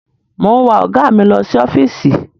Mò ń wa ọ̀gá mi lọ sí ọ́fíìsì.